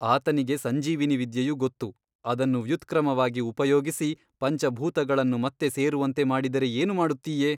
ಆತನಿಗೆ ಸಂಜೀವಿನೀ ವಿದ್ಯೆಯು ಗೊತ್ತು ಅದನ್ನು ವ್ಯುತ್ಕ್ರಮವಾಗಿ ಉಪಯೋಗಿಸಿ ಪಂಚಭೂತಗಳನ್ನು ಮತ್ತೆ ಸೇರುವಂತೆ ಮಾಡಿದರೆ ಏನು ಮಾಡುತ್ತೀಯೆ?